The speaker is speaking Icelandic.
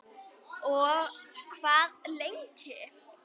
Og hvað lengi?